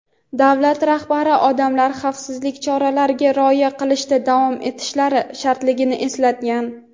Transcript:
davlat rahbari odamlar xavfsizlik choralariga rioya qilishda davom etishlari shartligini eslatgan.